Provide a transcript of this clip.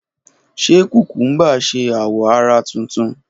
Ṣe kukumba ṣe awọ ara tuntun?